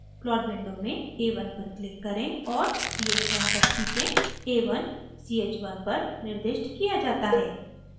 plot window में a1 पर click करें और ch1 तक खींचें a1 ch1 पर निर्दिष्ट किया जाता है